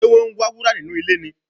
Ṣe wọ́n ń wá wúrà nínú ilẹ̀ ni?